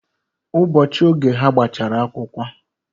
Ụbọọchi oge ha gbachara akwukwo,